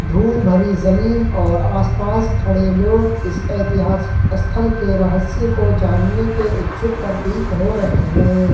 धूल भरी जमीन और आसपास खड़े लोग इस ऐतिहासिक स्थल के रहस्य को जानने के इच्छुक प्रतीक हो रहे हैं।